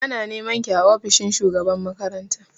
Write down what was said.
Ana nema ki a ofishin shugaban makaranta!